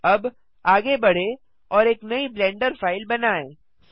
अब आगे बढ़ें और एक नई ब्लेंडर फाइल बनाएँ